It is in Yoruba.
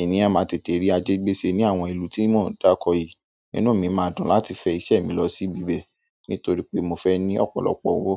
Ènìyàn máa tètè rí ajé gbé ṣe ní àwọn ìlú tí mo ń dáakọ yìí. Inú mi máa dùn láti fẹ́ iṣẹ́ mi lọ síbibẹ̀ nítorí pé mo fẹ́ ní ọ̀pọ̀lọpọ̀ owó.